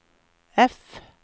F